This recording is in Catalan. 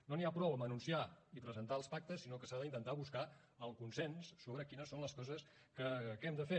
no n’hi ha prou amb anunciar i presentar els pactes sinó que s’ha d’intentar buscar el consens sobre quines són les coses que hem de fer